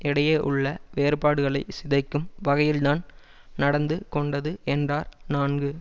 இடையே உள்ள வேறுபாடுகளை சிதைக்கும் வகையில்தான் நடந்து கொண்டது என்றார் நான்கு